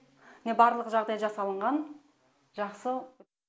міне барлығы жағдай жасалынған жақсы